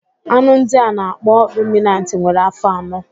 Anụ ndị a na-akpọ ruminantị nwere afọ anọ.